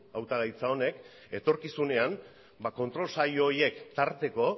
hautagaintza honek etorkizunean kontrol saio horiek tarteko